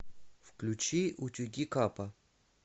включи утюги капа